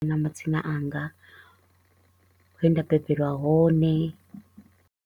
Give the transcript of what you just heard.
Na madzina anga, he nda bebelwa hone.